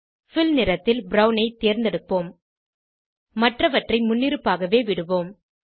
bill நிறத்தில் brown ஐ தேர்ந்தெடுப்போம் மற்றவற்றை முன்னிருப்பாகவே விடுவோம்